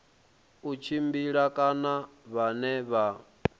u tshimbila kana vhane vha